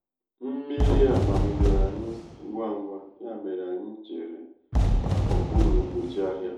mmiri a mamidoro anyị ngwa ngwa ya mere anyị cheere n'okpuru anyị cheere n'okpuru nkpuchi ahịa.